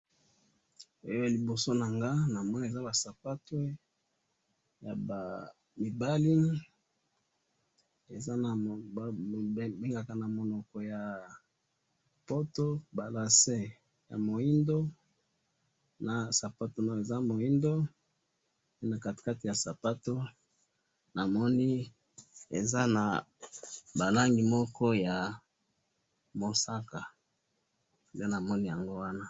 Eh! Liboso nanga namoni eza basapatu yabamibali, eza naba mund babengaka namunoko yapoto lacets ya mwindu, nasapatu eza mwidu, na katikati yasapatu namoni eza na balangi moko yamusaka, nde namoni yango wana